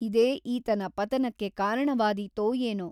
ಇದೇ ಈತನ ಪತನಕ್ಕೆ ಕಾರಣವಾದೀತೋ ಏನೋ ?